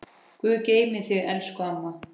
Guð geymi þig elsku amma.